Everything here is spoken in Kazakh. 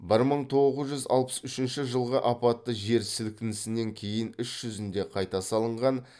бір мың тоғыз жүз алпыс үшінші жылғы апатты жер сілкінісінен кейін іс жүзінде қайта салынған